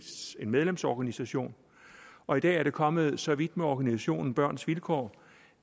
medlemsorganisation og i dag er det kommet så vidt med organisationen børns vilkår